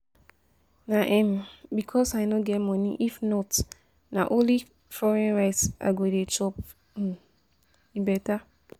Na um because say I no get money, if not na only foreign rice I go dey chop, e um better